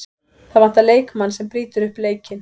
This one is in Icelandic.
Það vantar leikmann sem brýtur upp leikinn.